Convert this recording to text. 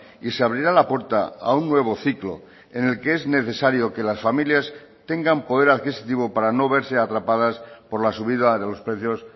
y se abrirá la puerta a un nuevo ciclo en el que es necesario que las familias tengan poder adquisitivo para no verse atrapadas por la subida de los precios